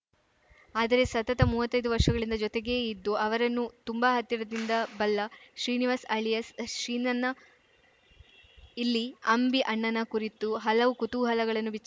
ಆದರೆ ಸತತ ಮೂವತ್ತೈದು ವರ್ಷಗಳಿಂದ ಜೊತೆಗೇ ಇದ್ದು ಅವರನ್ನು ತುಂಬಾ ಹತ್ತಿರದಿಂದ ಬಲ್ಲ ಶ್ರೀನಿವಾಸ್‌ ಅಲಿಯಾಸ್‌ ಸೀನಣ್ಣ ಇಲ್ಲಿ ಅಂಬಿ ಅಣ್ಣನ ಕುರಿತು ಹಲವು ಕುತೂಹಲಗಳನ್ನು ಬಿಚ್ಚಿ